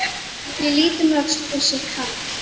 Ég lít um öxl og sé karl